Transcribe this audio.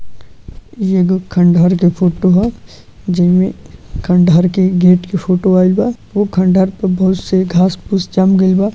ई एगो खंडहर के फोटो ह जेमे खंडहर के गेट के फोटो आइल बा उ खंडहर पे घास-फूस जाम गइल बा।